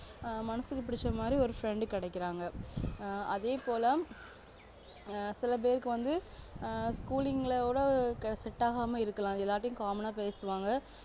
மனசுக்கு புடிச்ச மாதிரி ஒரு friend கிடைக்கறாங்க ஆஹ் அதேபோல சிலபேருக்கு வந்து ஆஹ் school கூட set ஆகாம இருக்கலாம் எல்லார்கிட்டயும் common ஆஹ் பேசுவாங்க